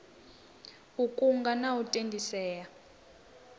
u kunga na u tendisea